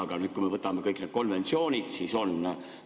Aga kui me võtame kõik need konventsioonid, siis nii on.